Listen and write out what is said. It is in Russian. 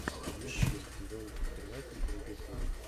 фильмец гримм сезон тринадцать третья серия